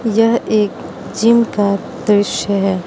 यह एक जिम का दृश्य है।